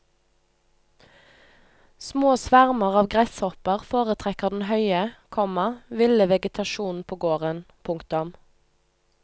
Små svermer av gresshopper foretrekker den høye, komma ville vegetasjonen på gården. punktum